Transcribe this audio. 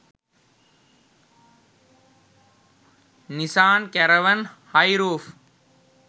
nisan caravan hi roof